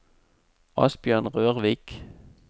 Asbjørn Rørvik